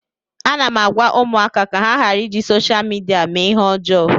Ana m agwa ụmụaka ka ha ghara iji sosha midia mee ihe ọjọọ